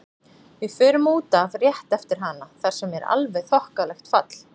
Við förum út af rétt eftir hana þar sem er alveg þokkalegt fall.